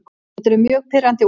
Þetta eru mjög pirrandi úrslit.